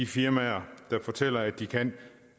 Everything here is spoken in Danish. firmaer der fortæller at de kan